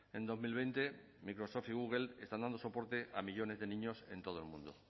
en dos mil veinte microsoft y google están dando soporte a millónes de niños en todo el mundo